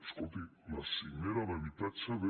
escolti la cimera d’habitatge de